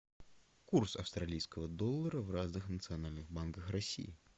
курс австралийского доллара в разных национальных банках россии